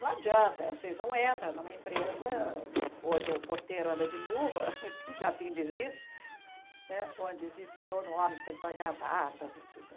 Não adianta, você não entra numa empresa onde o porteiro anda de luva, que já tem desiste, onde existe todo homem de pelitó e gravata, não dá.